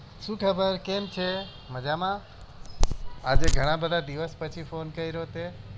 શું ખબર કેમ છે મજામાં આજે ઘણા દિવસ પછી phone કર્યો તે